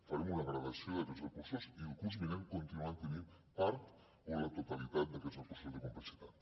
farem una gradació d’aquests recursos i el curs vinent continuaran tenint part o la totalitat d’aquests recursos de complexitat